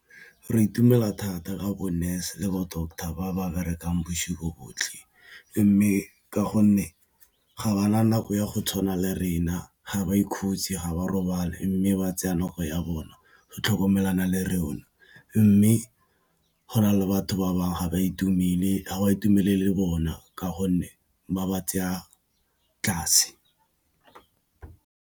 Re itumela thata Ka bo nurse le bo doctor ba ba berekang bosigo bontlhe mme ka gonne ga ba na nako ya go tshwana le rona, ga ba ikhutse ga ba robale mme ba tseya nako ya bona go tlhokomelana le rona mme go na le batho ba bangwe ga ba itumelele bona ka gonne ba ba tseya tlase.